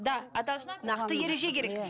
да нақты ереже керек